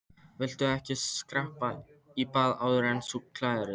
Viltu ekki skreppa í bað áður en þú klæðir þig?